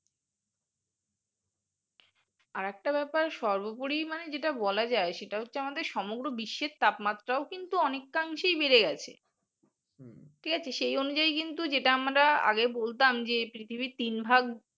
আরেকটা ব্যাপার সর্বপরী মানে যেটা বলা যায় সেটা হচ্ছে আমাদের সমগ্র বিশ্বে তাপমাত্রা ও কিন্তু অনেকাংশেই বেড়ে গেছে ঠিক আছে? সেই অনুযায়ীই কিন্তু যেটা আমরা আগে বলতাম যে পৃথিবীর তিন ভাগ